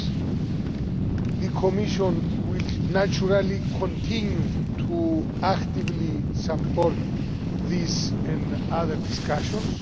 The Commission will, naturally, continue to actively support these and other discussions.